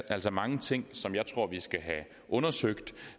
altså mange ting som jeg tror vi skal have undersøgt